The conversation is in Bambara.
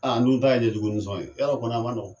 Aa an dun ta na kɛ jugunisɔn ye yɔrɔ kɔni a ma nɔgɔ?